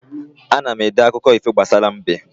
Ana m ede akụkọ ifo gbasara mbe